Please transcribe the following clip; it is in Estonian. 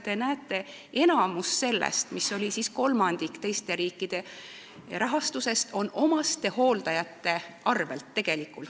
Te näete, et enamik sellest rahast, mis oli kolmandik teiste riikide rahastusest, tuleb tegelikult omastehooldajate arvel.